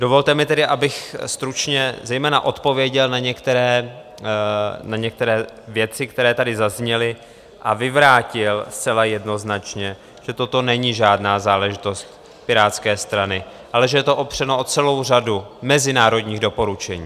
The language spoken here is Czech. Dovolte mi tedy, abych stručně zejména odpověděl na některé věci, které tady zazněly, a vyvrátil zcela jednoznačně, že toto není žádná záležitost Pirátské strany, ale že je to opřeno o celou řadu mezinárodních doporučení.